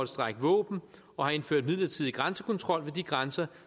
strække våben og indføre midlertidig grænsekontrol ved de grænser